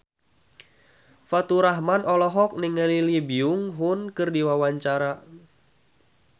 Faturrahman olohok ningali Lee Byung Hun keur diwawancara